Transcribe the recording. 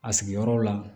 A sigiyɔrɔ la